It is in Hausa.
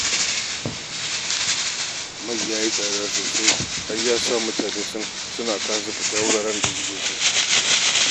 Mai ya yi tsada sosai, har yasa mutane suna kasa fita wuraren da suke so